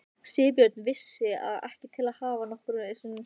Sigurbjörn vissi ég ekki til að hafa nokkru sinni séð.